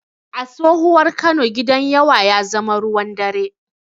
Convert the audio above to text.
A tsohuwar Kano, Gidan yawa ya zama ruwan dare.